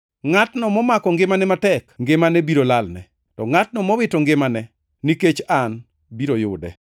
Ngʼatno momako ngimane matek, ngimane biro lalne; to ngʼatno mowito ngimane, nikech an, biro yude.